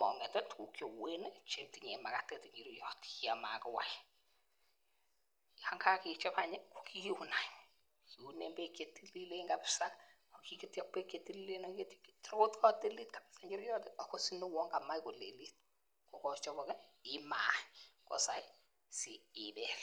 mang'et tuguk cheuwen en inchiriot Yoon magiwai . Yoon kakechob kiuun kiunen bek chetililen agiketyi ak bek chetililen tai kokatilit kabisa kouu kamache kolelit aitia ibel .